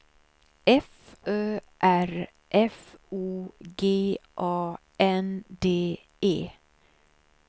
F Ö R F O G A N D E